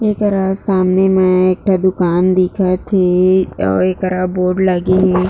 एकरा सामने म एक ठ दुकान दिखत हे अऊ एकरा बोर्ड लगे हे।